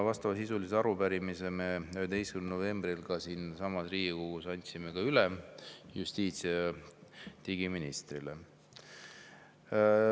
Vastavasisulise arupärimise me andsime 11. novembril siinsamas Riigikogus üle justiits‑ ja digiministrile.